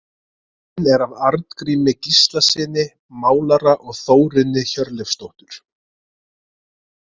Myndin er af Arngrími Gíslasyni málara og Þórunni Hjörleifsdóttur.